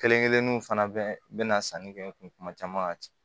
Kelen kelenninw fana bɛ na sanni kɛ n kun tuma caman ka